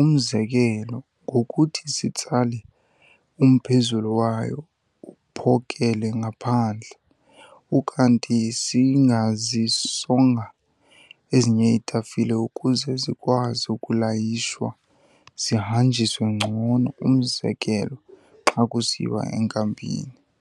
umzekelo, ngokuthi sitsale umphezulu wayo uphokele ngaphandle. Ukanti singazisonga ezinye iitafile ukuze zikwazi ukulayishwa zihanjiswe ngcono, umzekelo xa kusiyiwa enkampini.